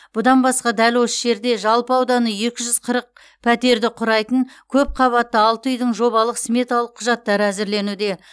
бұдан басқа дәл осы жерде жалпы ауданы екі жүз қырық пәтерді құрайтын көпқабатты алты үйдің жобалық сметалық құжаттары әзірленуде